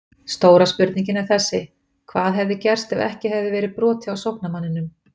Stóra spurningin er þessi: Hvað hefði gerst ef ekki hefði verið brotið á sóknarmanninum?